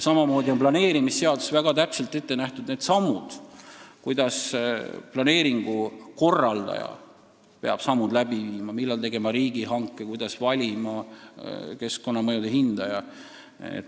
Samamoodi on planeerimisseaduses väga täpselt ette nähtud sammud, mis planeeringu korraldaja peab astuma: millal tegema riigihanke, kuidas valima keskkonnamõjude hindaja.